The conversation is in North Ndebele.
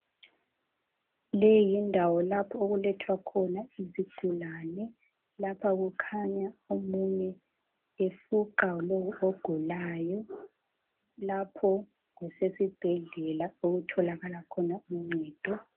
Leyi yindawo lapho okulethwa khona izigulane, lapha kukhanya omunye efuqa lowo ogulayo. Lapho kusesibhedlela okutholakala khona uncedo.